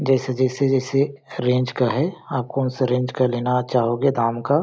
जैसे जैसे जैसे रेंज का है आप को उस रेंज का लेना चाहोगे दाम का --